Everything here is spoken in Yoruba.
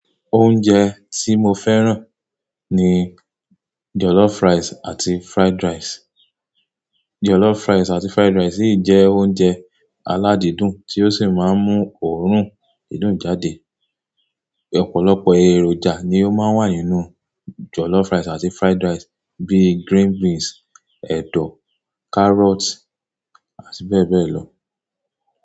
Oúnjẹ tí mo fẹ́ràn ni jollof rice àti fried rice. Jollof rice àti fried rice yìí jẹ́ oúnjẹ aládìídùn tí ó sì máa ń mú òórùn didùn jáde. Ọ̀pọ̀lọpọ̀ èròjà ni ó máa ń wà nínú jollof rice àti fried rice bíí green beans, ẹ̀dọ̀, carrot, àti bẹ́ẹ̀ bẹ́ẹ̀ lọ.